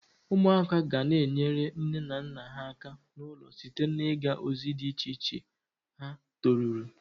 Umuaka gana-enyere nne na nna ha aka n'ulo site na-iga ozi di iche ha toruru.